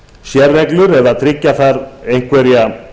sérreglur eða tryggja þar einhverja